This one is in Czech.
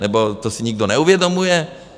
Nebo si to nikdo neuvědomuje?